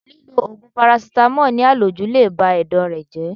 Lílọ Ògùn parasítámọ̀ ní à lòjù le bá Ẹ̀dọ̀ rẹ jẹ́.